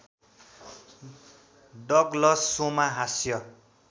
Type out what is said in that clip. Douglas सोमा हास्य